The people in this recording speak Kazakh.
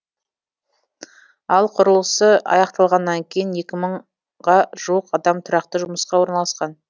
ал құрылысы аяқталғаннан кейін екі мыңға жуық адам тұрақты жұмысқа орналасады